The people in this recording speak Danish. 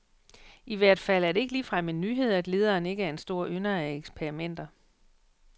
I hvert fald er det ikke ligefrem en nyhed, at lederen ikke er en stor ynder af eksperimenter.